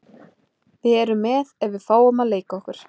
Við erum með ef við fáum að leika okkur.